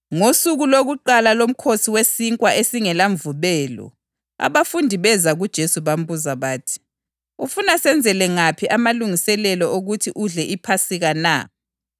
Ngosuku lokuqala loMkhosi weSinkwa esingelaMvubelo abafundi beza kuJesu bambuza bathi, “Ufuna senzele ngaphi amalungiselelo okuthi udle iPhasika na?”